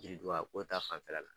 Yiriduga ko ta fanfɛla la.